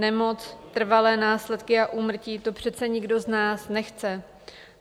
Nemoc, trvalé následky a úmrtí - to přece nikdo z nás nechce.